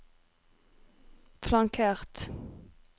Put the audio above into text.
flankert